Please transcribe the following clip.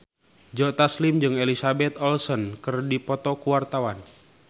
Joe Taslim jeung Elizabeth Olsen keur dipoto ku wartawan